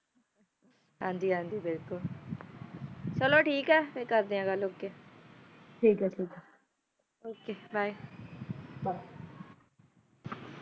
ਹਨ ਜੀ ਹਨ ਜੀ ਕ੍ਜਾਲੋ ਠੀਕ ਆ ਕਰਦਾ ਆ ਫਿਰ